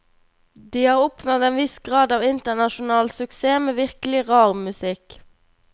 De har oppnådd en viss grad av internasjonal suksess med virkelig rar musikk.